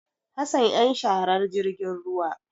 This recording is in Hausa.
Hassan yan sharar jirgin ruwa.